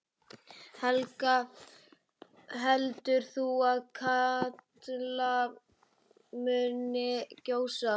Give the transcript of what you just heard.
Helga: Heldur þú að Katla muni gjósa?